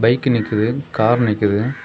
Bike நிக்குது car நிக்குது.